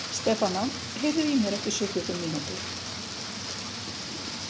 Stefana, heyrðu í mér eftir sjötíu og fimm mínútur.